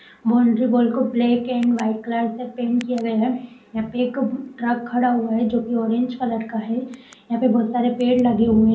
boundary wall को white और black colour से पेंट किया गया है यहां पर एक ट्रक खड़ा हुआ है जो की ऑरेंज कलर का है यहां पे बहुत सारे पेड़ लगे हुए --